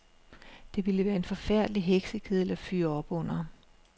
Det ville være en forfærdelig heksekedel at fyre op under.